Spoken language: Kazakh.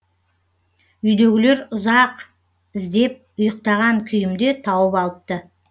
үйдегілер ұзақ іздеп ұйықтаған күйімде тауып алыпты